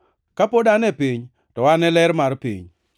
Ka pod an e piny, to an e ler mar piny.”